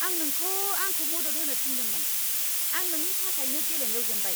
आं नोंखौ आंखौ मदद होनो थिन्दोंमोन! आं नोंनि थाखायनो गेलेनायाव जेनबाय!